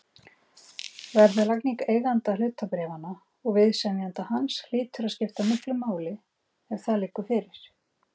Verðlagning eiganda hlutabréfanna og viðsemjenda hans hlýtur að skipta miklu máli ef það liggur fyrir.